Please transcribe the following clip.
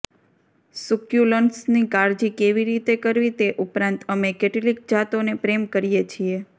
સુક્યુલન્ટ્સની કાળજી કેવી રીતે કરવી તે ઉપરાંત અમે કેટલીક જાતોને પ્રેમ કરીએ છીએ